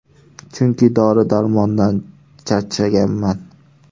Chunki dori-darmondan charchaganman”.